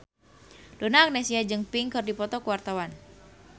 Donna Agnesia jeung Pink keur dipoto ku wartawan